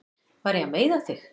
Var ég að meiða þig?